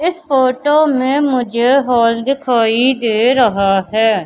इस फोटो में मुझे हॉल दिखाई दे रहा है।